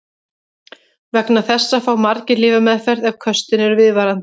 Vegna þessa fá margir lyfjameðferð ef köstin eru viðvarandi.